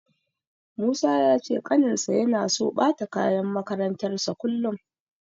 Musa ya ce ƙaninsa yana so ɓata kayan makarantarsa kullum.